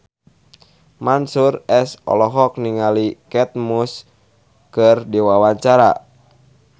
Mansyur S olohok ningali Kate Moss keur diwawancara